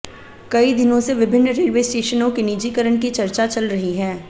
कई दिनों से विभिन्न रेलवे स्टेशनों के निजीकरण की चर्चा चल रही है